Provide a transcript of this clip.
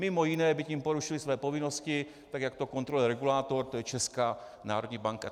Mimo jiné by tím porušili své povinnost, tak jak to kontroluje regulátor, to je Česká národní banka.